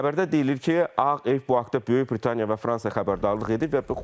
Xəbərdə deyilir ki, Ağ ev bu haqda Böyük Britaniya və Fransa xəbərdarlıq edib.